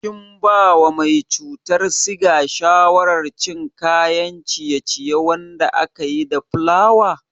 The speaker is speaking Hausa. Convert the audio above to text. Kin bawa mai cutar siga shawarar cin kayan ciye-ciye wanda akayi da fulawa?